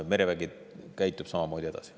Merevägi käitub samamoodi edasi.